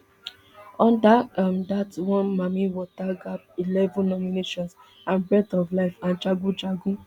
under um dat one mami wata gbab eleven nominations and breath of life and jagun jagun